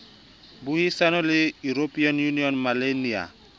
boahisani le european union maelana